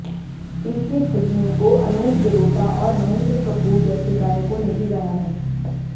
इनके भजनों को अनूप जलोटा और महेंद्र कपूर जैसे गायकों ने भी गाया है